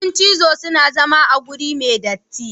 Kudin cizo suna zama a wuri me datti.